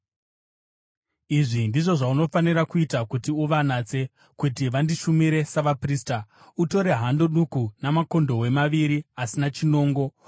“Izvi ndizvo zvaunofanira kuita kuti uvanatse, kuti vandishumire savaprista: Utore hando duku namakondobwe maviri asina chinongo.